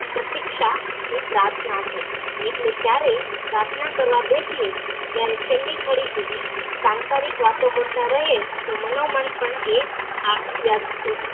પ્રતીક્ષા પ્રાર્થના છે એટલે જયારે પ્રાર્થના કરવા બેસીયે ત્યારે છેલી ઘડી સુધી સાંસારિક વાતો કરતા રહીયે તો મનોમન પણ એક